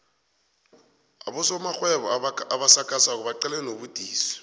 abosomarhwebo abasakhasako baqalene nobudisi